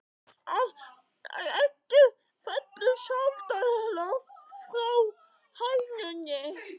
Að eggið fellur sjaldan langt frá hænunni!